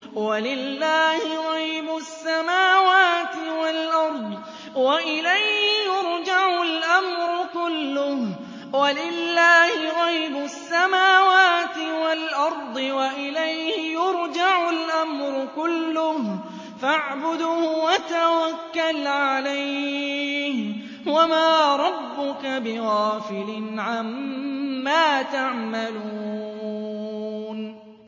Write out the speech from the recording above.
وَلِلَّهِ غَيْبُ السَّمَاوَاتِ وَالْأَرْضِ وَإِلَيْهِ يُرْجَعُ الْأَمْرُ كُلُّهُ فَاعْبُدْهُ وَتَوَكَّلْ عَلَيْهِ ۚ وَمَا رَبُّكَ بِغَافِلٍ عَمَّا تَعْمَلُونَ